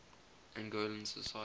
angolan society